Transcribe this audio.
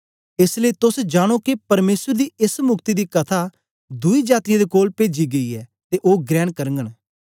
एस लेई तोस जानो के परमेसर दी एस मुक्ति दी कथा दुई जातीयें दे कोल पेजी गेई ऐ ते ओ ग्रेण करगन